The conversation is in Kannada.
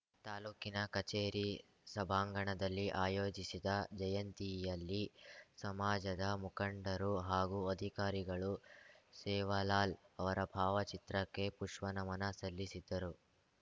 ತಾಲೂಕಿನ ಕಚೇರಿ ಸಭಾಂಗಣದಲ್ಲಿ ಆಯೋಜಿಸಿದ್ದ ಜಯಂತಿಯಲ್ಲಿ ಸಮಾಜದ ಮುಖಂಡರು ಹಾಗೂ ಅಧಿಕಾರಿಗಳು ಸೇವಾಲಾಲ್‌ ಅವರ ಭಾವಚಿತ್ರಕ್ಕೆ ಪುಷ್ಪನಮನ ಸಲ್ಲಿಸಿದರು